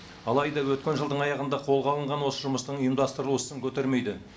алайда өткен жылдың аяғында қолға алынған осы жұмыстың ұйымдастырылуы сын көтермейді